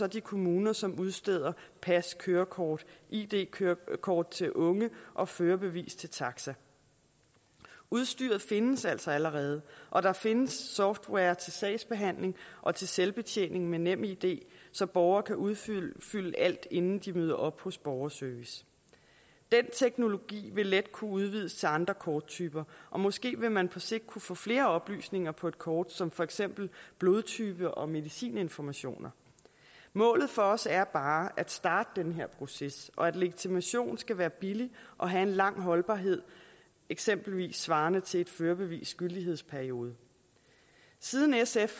de kommuner som udsteder pas kørekort id kørekort til unge og førerbevis til taxa udstyret findes altså allerede og der findes software til sagsbehandling og til selvbetjening med nemid så borgere kan udfylde alt inden de møder op hos borgerservice den teknologi vil let kunne udvides til andre korttyper og måske vil man på sigt kunne få flere oplysninger på et kort som for eksempel blodtype og medicininformationer målet for os er bare at starte den her proces og at legitimation skal være billig og have en lang holdbarhed eksempelvis svarende til et førerbevis gyldighedsperiode siden sf